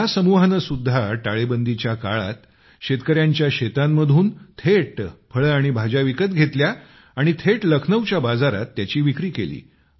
या समूहाने सुद्धा टाळेबंदीच्या काळात शेतकऱ्यांच्या शेतांमधून थेट फळे आणि भाज्या विकत घेतल्या आणि थेट लखनौच्या बाजारात त्यांची विक्री केली